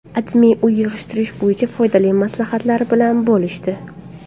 AdMe uy yig‘ishtirish bo‘yicha foydali maslahatlar bilan bo‘lishdi .